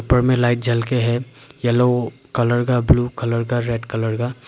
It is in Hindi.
ऊपर मैं लाइट जल के है येलो कलर का ब्लू कलर का रेड कलर का।